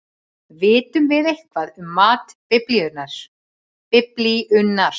Vitum við eitthvað um mat Biblíunnar?